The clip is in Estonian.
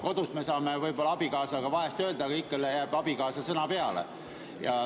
Kodus me saame võib-olla abikaasale vahest öelda, aga ikka jääb abikaasa sõna peale.